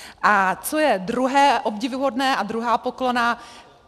A co je druhé obdivuhodné a druhá poklona.